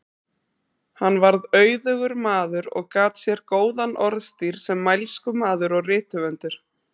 Hann varð auðugur maður og gat sér góðan orðstír sem mælskumaður og rithöfundur.